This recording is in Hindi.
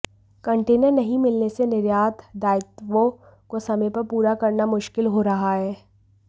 कंटेनर नहीं मिलने से निर्यात दायित्वों को समय पर पूरा करना मुश्किल हो रहा है